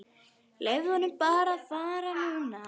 Leyfðu honum bara að fara núna.